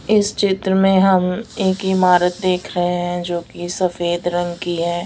इस चित्र में हम एक इमारत देख रहे हैं जो की सफेद रंग की है।